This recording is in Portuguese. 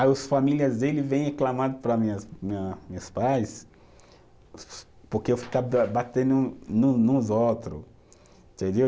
Aí os famílias dele vem reclamando para minha, minha, meus pais, porque eu ficava batendo no nos outros, entendeu?